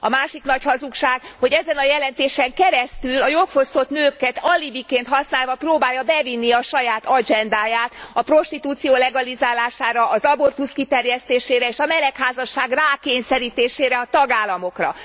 A másik nagy hazugság, hogy ezen a jelentésen keresztül a jogfosztott nőket alibiként használva próbálja bevinni a saját agendáját a prostitúció legalizálására, az abortusz kiterjesztésére és a melegházasság rákényszerítésére a tagállamokra.